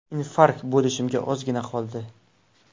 Infarkt bo‘lishimga ozgina qoldi.